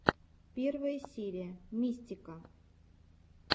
первая серия мистика